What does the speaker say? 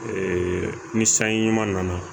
Ee ni sanji ɲuman nana